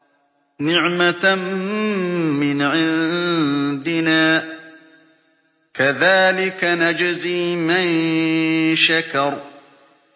نِّعْمَةً مِّنْ عِندِنَا ۚ كَذَٰلِكَ نَجْزِي مَن شَكَرَ